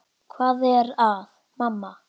Hvað er að, mamma?